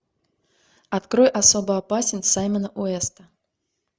открой особо опасен саймона уэста